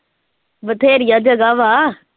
ਬਥੇਰੀਆਂ ਜਗ੍ਹਾ ਵਾ।